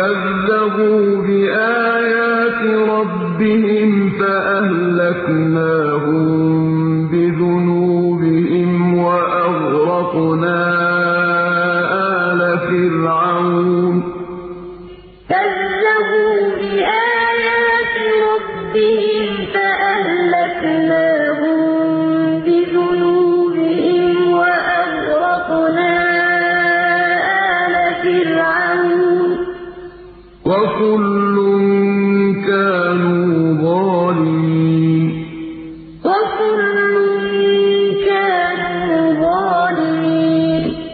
كَذَّبُوا بِآيَاتِ رَبِّهِمْ فَأَهْلَكْنَاهُم بِذُنُوبِهِمْ وَأَغْرَقْنَا آلَ فِرْعَوْنَ ۚ وَكُلٌّ كَانُوا ظَالِمِينَ كَدَأْبِ آلِ فِرْعَوْنَ ۙ وَالَّذِينَ مِن قَبْلِهِمْ ۚ كَذَّبُوا بِآيَاتِ رَبِّهِمْ فَأَهْلَكْنَاهُم بِذُنُوبِهِمْ وَأَغْرَقْنَا آلَ فِرْعَوْنَ ۚ وَكُلٌّ كَانُوا ظَالِمِينَ